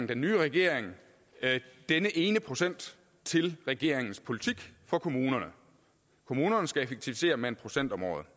her nye regering denne ene procent til regeringens politik for kommunerne kommunerne skal effektivisere med en procent om året